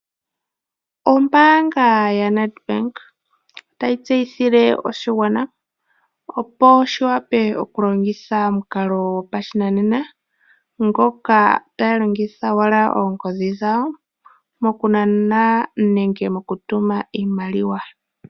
Ombaanga yaNedbank otayi tseyithile oshigwana opo shi wape okulongitha omukalo gopashinanena ngoka taya longitha owala oongodhi dhawo mokunana nokutuma iimaliwa.